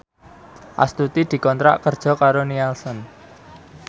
Astuti dikontrak kerja karo Nielsen